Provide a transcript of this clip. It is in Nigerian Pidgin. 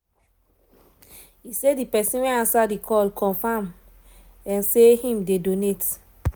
e say di pesin wey ansa di call confam um say im dey donate